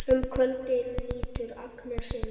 Um kvöldið lítur Agnes inn.